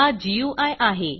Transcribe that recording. हा गुई आहे